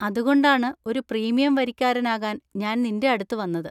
അതുകൊണ്ടാണ് ഒരു പ്രീമിയം വരിക്കാരനാകാൻ ഞാൻ നിന്‍റെ അടുത്ത് വന്നത്.